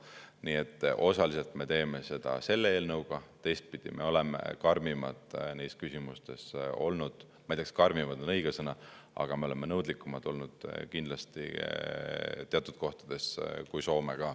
Nii et osaliselt me teeme seda selle eelnõuga, teistpidi me oleme neis küsimustes olnud karmimad – ma ei tea, kas "karmimad" on õige sõna –, aga me oleme kindlasti teatud punktides olnud nõudlikumad kui Soome.